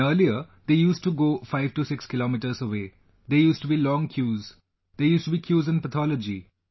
And earlier they used to go 56 kilometres away... there used to be long queues... there used to be queues in Pathology